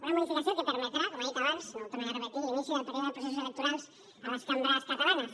una modificació que permetrà com ha dit abans no ho tornaré a repetir l’inici del període de processos electorals a les cambres catalanes